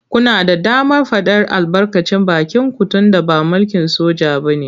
Kuna da damar faɗar albarkacin bakinku tunda ba mulkin soja ba ne.